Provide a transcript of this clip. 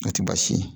O tɛ baasi ye